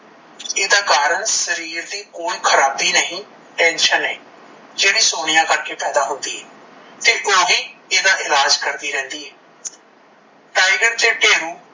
ਏਦਾ ਕਾਰਨ ਸ਼ਰੀਰ ਦੀ ਕੋਈ ਖਰਾਬੀ ਨਹੀਂ tension ਏ, ਜੇੜੀ ਸੋਨੀਆ ਕਰਕੇ ਪੈਦਾ ਹੁੰਦੀ ਏ ਤੇ ਓਹੀ ਏਦਾ ਇਲਾਜ ਕਰਦੀ ਰਹਿੰਦੀ ਏ ਟਾਈਗਰ ਤੇ ਠੇਰੂ